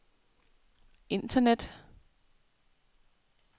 internet